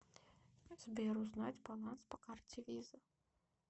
сбер узнать баланс по карте виза